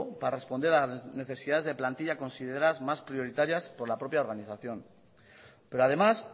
para responder a las necesidades de plantilla consideradas más prioritarias por la propia organización pero además